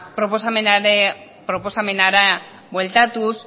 proposamenera bueltatuz